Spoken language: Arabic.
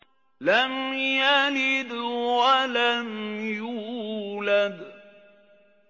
لَمْ يَلِدْ وَلَمْ يُولَدْ